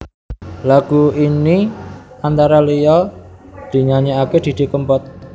Lagu ini antara liya dinyanyèkaké Didi Kempot